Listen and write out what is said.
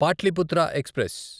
Pataliputra express